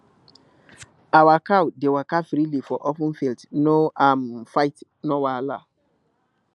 our cow dey waka freely for open field no um fight no wahala